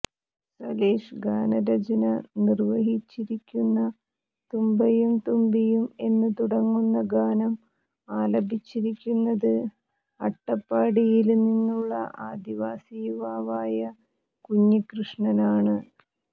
സലിഷ് ഗാനരചന നിര്വഹിച്ചിരിക്കുന്ന തുമ്പയും തുമ്പിയും എന്ന് തുടങ്ങുന്ന ഗാനം ആലപിച്ചിരിക്കുന്നത് അട്ടപ്പാടിയില് നിന്നുള്ള ആദിവാസി യുവാവായ കുഞ്ഞികൃഷ്ണനാണ്